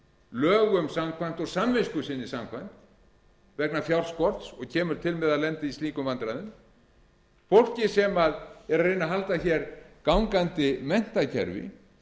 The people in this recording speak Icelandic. lögum samkvæmt og samvisku sinni samkvæmt vegna fjárskorts og kemur til með að lenda í slíkum vandræðum fólk sem er að reyna að halda hér gangandi menntakerfi